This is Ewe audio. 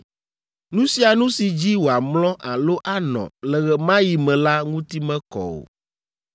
“ ‘Nu sia nu si dzi wòamlɔ alo anɔ le ɣe ma ɣi me la ŋuti mekɔ o.